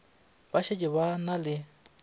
ba šetše ba na le